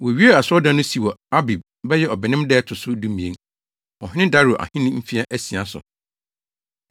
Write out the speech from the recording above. Wowiee asɔredan no si wɔ Abib (bɛyɛ Ɔbɛnem) da a ɛto so dumien, ɔhene Dario ahenni mfe asia so.